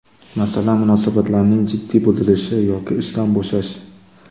Masalan, munosabatlarning jiddiy buzilishi yoki ishdan bo‘shash.